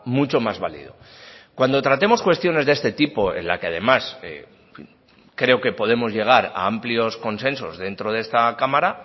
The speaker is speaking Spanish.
mucho más válido cuando tratemos cuestiones de este tipo en la que además creo que podemos llegar a amplios consensos dentro de esta cámara